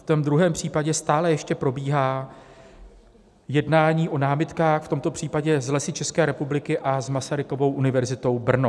V tom druhém případě stále ještě probíhá jednání o námitkách, v tomto případě s Lesy České republiky a s Masarykovou univerzitou Brno.